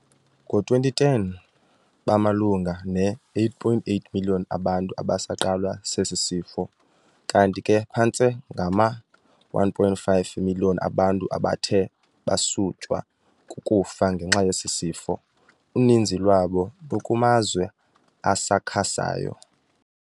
Ngo-2010, bamalunga ne-8.8 million abantu abasaqalwa sesi sifo, kanti ke phantse ngama-1.5 million abantu abathe basutywa kukufa ngenxa yesi sifo, uninzi lwabo lukumazwe asakhasayo.